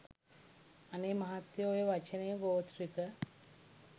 අනේ මහත්තයෝ ඔය වචනය ගොත්‍රික